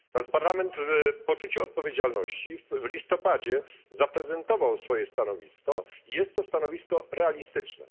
Natomiast Parlament w poczuciu odpowiedzialności w listopadzie zaprezentował swoje stanowisko, i jest to stanowisko realistyczne.